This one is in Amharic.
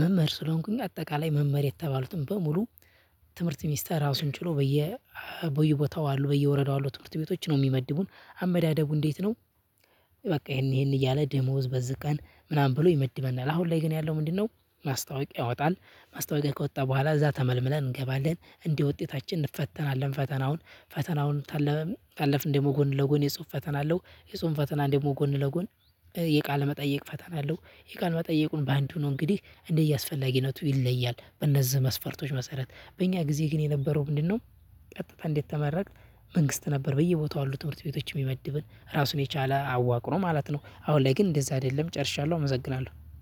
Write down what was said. መምህር ስለሆንኩኝ አጠቃላይ መምህር የተባሉትን በሙሉ። ትምህርት ሚስተር ራሱን ችሎ በየ በየቦታው አሉ በየወረዳው አሉ ትምህርት ቤቶች ነው ሚመድቡን አመዳደቡ እንዴት ነው? በቃ ይሄን ይሄን እያለ ደሞዝ በዚህ ቀን ምናምን ብሎ ይመድበናል። አሁን ላይ ግን ያለው ምንድነው? ማስታወቂያ ያወጣል ማስታወቂያ ከወጣ በኋላ እዛ ተመልምለን እንገባለን። እንደ ውጤታችን እንፈተናለን። ፈተናውን ፈተናውን ታለ ታለፍን ደግሞ ጎን ለጎን የጽሁፍ ፈተና አለው። የጽሁፍ ፈተና ደግሞ ጎን ለጎን የቃለ መጠይቅ ፈተና አለው። የቃል መጠይቁን በአንድ ሁኖ እንግዲህ እንደየአስፈላጊነቱ ይለያል። በእነዚህ መስፈርቶች መሰረት በእኛ ጊዜ ግን የነበረው ምንድነው? ቀጥታ እንደተመረቅን መንግስት ነበር በየቦታው አሉ ትምህርት ቤቶች ሚመድብህ ራሱን የቻለ አዋቅሮ ማለት ነው። አሁን ላይ ግን እንደዛ አይደለም ጨርሻለሁ። አመሰግናለሁ።